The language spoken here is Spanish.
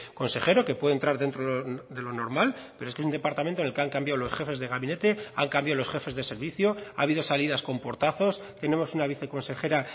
consejero que puede entrar dentro de lo normal pero es que un departamento en el que han cambiado los jefes de gabinete han cambiado los jefes de servicio ha habido salidas con portazos tenemos una viceconsejera